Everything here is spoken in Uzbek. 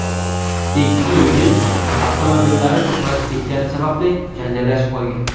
Ikki yigit avtomobillari to‘qnashib ketgani sababli janjallashib qolgan.